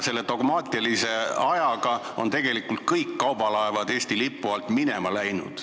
Selle dogmatismi ajaga on tegelikult kõik kaubalaevad Eesti lipu alt minema läinud.